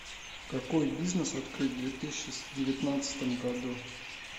какой бизнес открыть в две тысячи девятнадцатом году